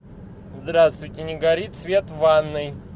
здравствуйте не горит свет в ванной